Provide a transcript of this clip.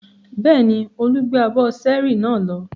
Bẹ́ẹ̀ni, Olu gbé abọ́ ṣẹ́ẹ́rì náà lọ.